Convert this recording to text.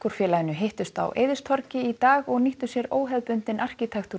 félaginu hittust á Eiðistorgi í dag og nýttu sér óhefðbundinn